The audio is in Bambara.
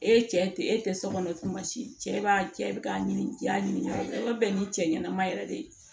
E cɛ e tɛ sokɔnɔ tuma si cɛ b'a cɛ k'a ɲini i y'a ɲininka i ka bɛn ni cɛ ɲɛnama yɛrɛ de ye